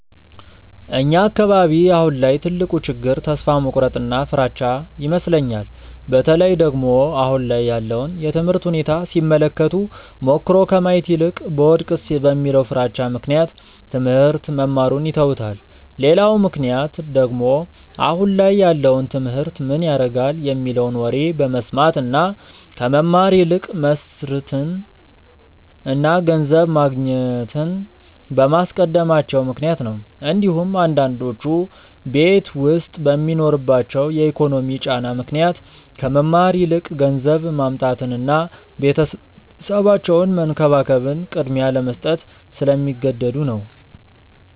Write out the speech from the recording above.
እኛ አካባቢ አሁን ላይ ትልቁ ችግር ተስፋ መቁረጥ እና ፍራቻ ይመስለኛል። በተለይ ደግሞ አሁን ላይ ያለውን የትምህርት ሁኔታ ሲመለከቱ ሞክሮ ከማየት ይልቅ ብወድቅስ በሚለው ፍራቻ ምክንያት ትሞህርት መማሩን ይተውታል። ሌላው ምክንያት ደግሞ አሁን ላይ ያለውን ትምህርት ምን ያረጋል የሚለውን ወሬ በመስማት እና ከመማር ይልቅ መስርትን እና ገንዘብ ማግኘትን በማስቀደማቸው ምክንያት ነው እንዲሁም አንዳንዶቹ ቤት ዉስጥ በሚኖርባቸው የኢኮኖሚ ጫና ምክንያት ከመማር ይልቅ ገንዘብ ማምጣትን እና ቤተሰባቸውን መንከባከብን ቅድሚያ ለመስጠት ስለሚገደዱ ነው።